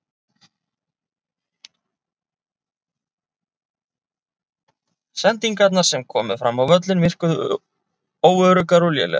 Sendingarnar sem komu fram á völlinn virkuðu óöruggar og lélegar.